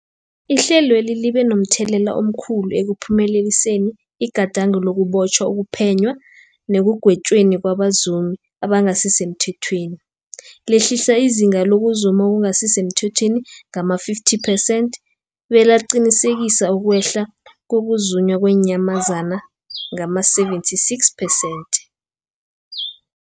Ihlelweli libe momthelela omkhulu ekuphumeleliseni igadango lokubotjhwa, ukuphenywa nekugwetjweni kwabazumi abangasisemthethweni, lehlisa izinga lokuzuma okungasi semthethweni ngama-50 percent belaqinisekisa ukwehla kokuzunywa kweenyamazana ngama-76 percent.